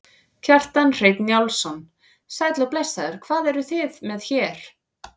Kjartan Hreinn Njálsson: Sæll og blessaður, hvað eruð þið með hérna?